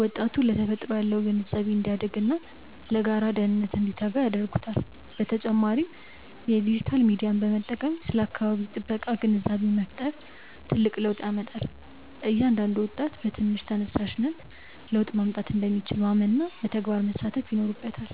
ወጣቱ ለተፈጥሮ ያለው ግንዛቤ እንዲያድግና ለጋራ ደህንነት እንዲተጋ ያደርጉታል። በተጨማሪም የዲጂታል ሚዲያን በመጠቀም ስለ አካባቢ ጥበቃ ግንዛቤ መፍጠር ትልቅ ለውጥ ያመጣል። እያንዳንዱ ወጣት በትንሽ ተነሳሽነት ለውጥ ማምጣት እንደሚችል ማመንና በተግባር መሳተፍ ይኖርበታል።